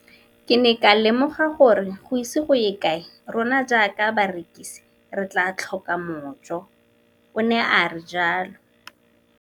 Ke ne ka lemoga gore go ise go ye kae rona jaaka barekise re tla tlhoka mojo, o ne a re jalo.